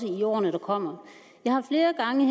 i årene der kommer jeg har flere gange